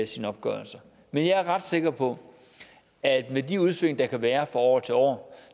sin opgørelse men jeg er ret sikker på at med de udsving der kan være fra år til år